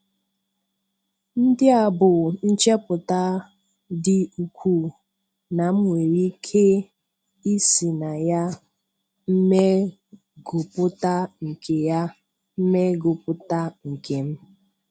Ndị a bụ nchepụta dị ukwuu na m nwere ike ị sị na ya mmeguputa nke ya mmeguputa nke m.